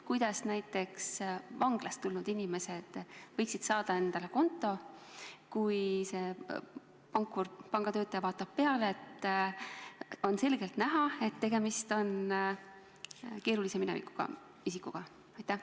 Kuidas näiteks vanglast tulnud inimene võiks saada endale konto, kui pangatöötaja vaatab talle peale ja on selgelt näha, et tegemist on keerulise minevikuga isikuga?